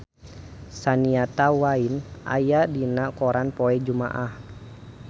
Shania Twain aya dina koran poe Jumaah